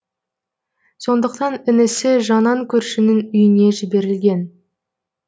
сондықтан інісі жанан көршінің үйіне жіберілген